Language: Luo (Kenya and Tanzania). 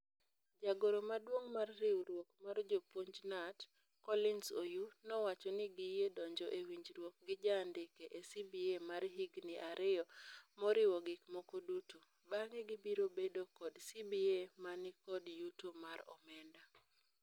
Jagoro maduong mar riwruok mar jopuonj KNUT, Collins Oyuu nowacho ni giyie donjo e winjruok gi jaandike e CBA mar higni ario moriwo gik moko duto. Bang'e gibiro bedo kod CBA mani kod yuto mar omenda.